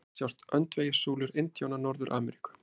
Hér sjást öndvegissúlur indjána Norður-Ameríku.